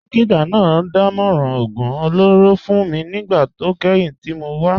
Dókítà náà dámọ̀ràn oògùn olóró fún mi nígbà tó kẹ́yìn tí mo wá